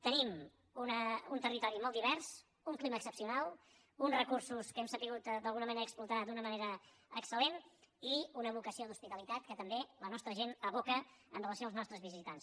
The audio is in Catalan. tenim un territori molt divers un clima excepcional uns recursos que hem sabut d’alguna manera explotar d’una manera excelque també la nostra gent aboca amb relació als nostres visitants